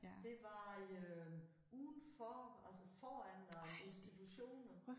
Det var i øh udenfor altså foran øh institutioner